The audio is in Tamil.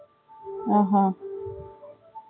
ஆஹான்